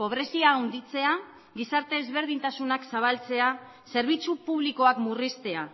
pobrezia handitzea gizarte ezberdintasunak zabaltzea zerbitzu publikoak murriztea